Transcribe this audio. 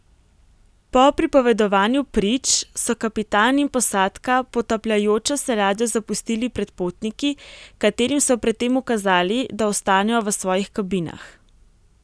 Po pripovedovanju prič so kapitan in posadka potapljajočo se ladjo zapustili pred potniki, katerim so pred tem ukazali, da ostanejo v svojih kabinah.